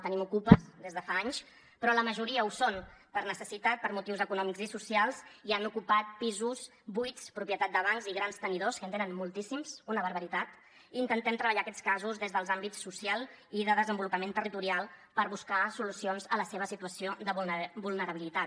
tenim ocupes des de fa anys però la majoria ho són per necessitat per motius econòmics i socials i han ocupat pisos buits propietat de bancs i grans tenidors que en tenen moltíssims una barbaritat i intentem treballar aquests casos des dels àmbits social i de desenvolupament territorial per buscar solucions a la seva situació de vulnerabilitat